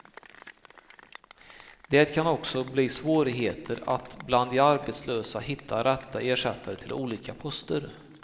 Det kan också bli svårigheter att bland de arbetslösa hitta rätta ersättare till olika poster.